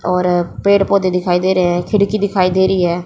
और पेड़ पौधे दिखाई दे रहे हैं खिड़की दिखाई दे रही है।